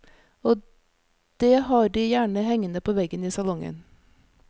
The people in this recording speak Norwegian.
Og det har de gjerne hengende på veggen i salongen.